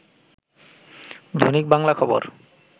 দৈনিক বাংলা খবর